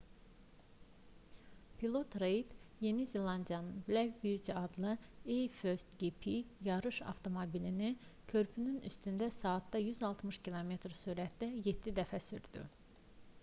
pilot reid yeni zelandiyanın black beauty adlı a1gp yarış avtomobilini körpünün üstündə saatda 160 km sürətlə 7 dəfə sürdü